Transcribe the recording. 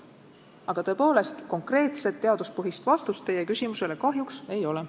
Aga konkreetset teaduspõhist vastust teie küsimusele kahjuks ei ole.